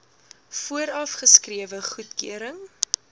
vooraf geskrewe goedkeuring